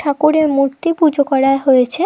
ঠাকুরের মূর্তি পুজো করা হয়েছে--